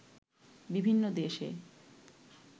বিভিন্ন দেশে